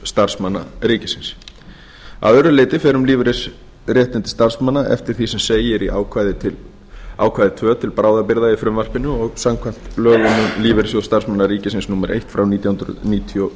starfsmanna ríkisins að öðru leyti fer um lífeyrisréttindi starfsmanna eftir því sem segir í ákvæði tvö til bráðabirgða í frumvarpinu og samkvæmt lögum um lífeyrissjóð starfsmanna ríkisins númer eitt nítján hundruð níutíu og